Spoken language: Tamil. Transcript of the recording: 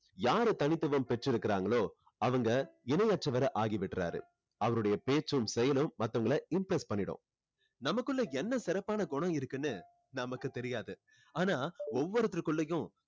யாரு தனித்துவம் பெற்று இருக்காங்களோ அவங்க இணை அற்றவர் ஆகி விடுராறு அவருடைய பேச்சும் செயலும் மத்தவங்களை impress பண்ணிடும் நமக்குள்ள என்ன சிறப்பான குணம் இருக்குன்னு நமக்கு தெரியாது ஆனா ஒவ்வொருத்தருக்குள்ளேயும்